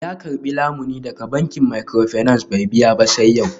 Ya karbi lamuni daga bankin microfinance bai biya ba sai yau.